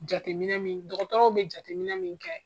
Jateminɛ min dɔgɔtɔrɔw bɛ jateminɛ min kɛ.